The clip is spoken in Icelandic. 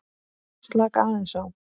Slaka aðeins á.